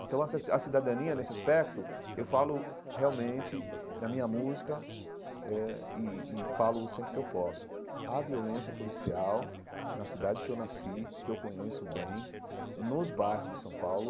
Então, a cidadania, nesse aspecto, eu falo realmente, na minha música, eh e e falo sempre que eu posso, a violência policial na cidade que eu nasci, que eu conheço bem, nos bairros de São Paulo,